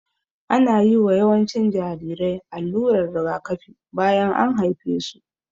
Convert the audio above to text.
Ana yiwa yawancin jarirai allurar rigakafi bayan an haife su